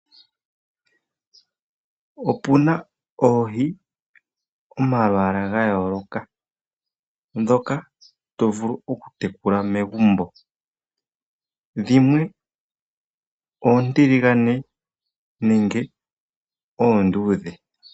Opu na oohi dho malwaala ga yooloka ndhoka to vulu okutekula megumbo, dhimwe oontiligane nenge oonduudhe.